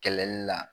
Kɛlɛli la